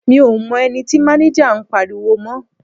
Mi ò mọ ẹni tí máníjà ń pariwo mọ́.